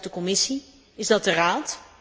Is dat de Commissie, is dat de Raad?